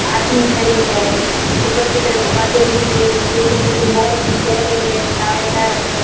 आदमी खड़े हैं ऊपर की तरफ बादल दिख रहे हैं पेड़ पौधे बहुत ही गेहरे हैं छायादार है।